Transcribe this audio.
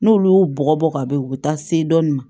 N'olu y'u bɔgɔ bɔ ka ben u bi taa se dɔɔni ma